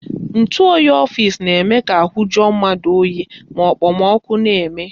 Ntụoyi n'ọfịsi na-eme ka ahụ juo mmadụ oyi ma okpomọkụ na-eme